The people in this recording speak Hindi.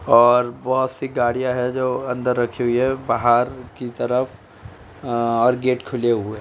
और बोहोत सी गाड़ियाँ हैं जो अंदर रखी हुई हैं बाहर की तरफ आ और गेट खुले हुए है।